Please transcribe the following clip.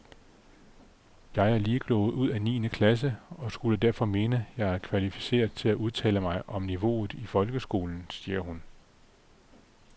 Jeg er lige gået ud af niende klasse, og skulle derfor mene, jeg er kvalificeret til at udtale mig om niveauet i folkeskolen, siger hun.